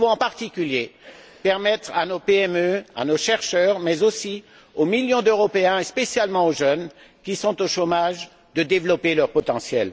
Nous devons, en particulier, permettre à nos PME, à nos chercheurs, mais aussi aux millions d'Européens, et spécialement aux jeunes qui sont au chômage, de développer leur potentiel.